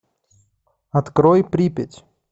открой припять